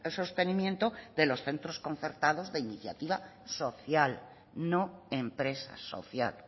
sostenimiento de los centros concertados de iniciativa social no empresas social